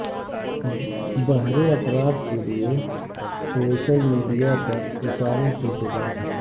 بہرے افراد کے لیے سوشل میڈیا پر اشاروں کی زبان